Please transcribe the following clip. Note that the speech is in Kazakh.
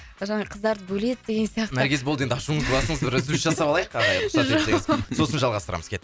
жаңағы қыздарды бөледі деген сияқты наргиз болды енді ашуыңызды басыңыз бір үзіліс жасап алайық ағай рұқсат етсеңіз сосын жалғастырамыз